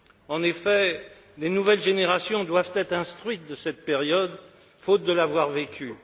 En effet, les nouvelles générations doivent être instruites de cette période, faute de l'avoir vécue.